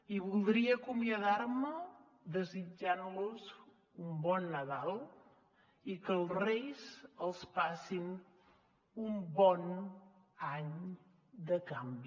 i voldria acomiadar me desitjant los un bon nadal i que els reis els passin un bon any de canvi